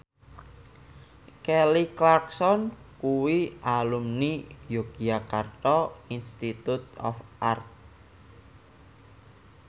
Kelly Clarkson kuwi alumni Yogyakarta Institute of Art